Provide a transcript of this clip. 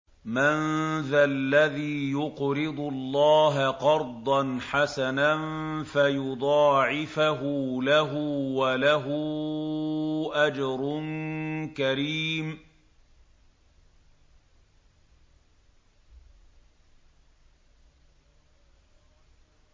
مَّن ذَا الَّذِي يُقْرِضُ اللَّهَ قَرْضًا حَسَنًا فَيُضَاعِفَهُ لَهُ وَلَهُ أَجْرٌ كَرِيمٌ